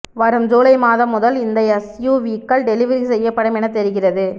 வரும் ஜூலை மாதம் முதல் இந்த எஸ்யுவிக்கள் டெலிவரி செய்யப்படும் என தெரிகிறது